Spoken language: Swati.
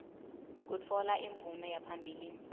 kutfola imvume yaphambilini